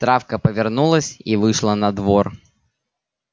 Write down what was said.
травка повернулась и вышла на двор